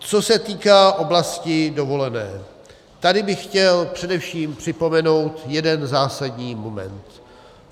Co se týká oblasti dovolené, tady bych chtěl především připomenout jeden zásadní moment.